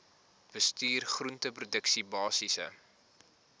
bestuur groenteproduksie basiese